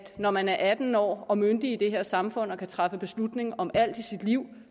når man er atten år og myndig i det her samfund og kan træffe beslutning om alt i sit liv